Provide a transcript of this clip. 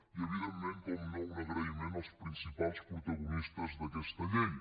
i evidentment un agraïment als principals protagonistes d’aquesta llei